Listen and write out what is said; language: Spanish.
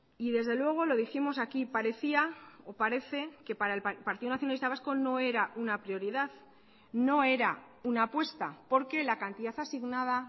y desde luego lo dijimos aquí parecía o parece que para el partido nacionalista vasco no era una prioridad no era una apuesta porque la cantidad asignada